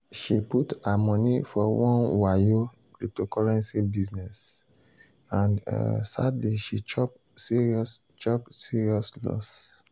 she put her money for one wayo cryptocurrency business and um sadly she chop serious chop serious loss.